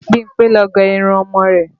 Bímpé ló gé irun ọmọ rẹ̀